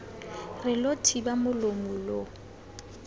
re lo thiba molomo lo